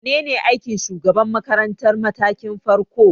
Menene aikin shugaban makarantar matakin farko?